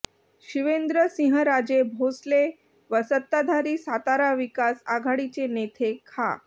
शिवेंद्रसिंहराजे भोसले व सत्ताधारी सातारा विकास आघाडीचे नेते खा